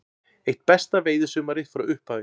Eitt besta veiðisumarið frá upphafi